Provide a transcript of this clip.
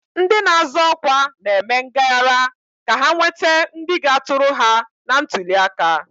Ndị na-azọ ọkwa na-eme ngaghara ka ha nwete ndị ga-atụrụ ha na ntuli aka.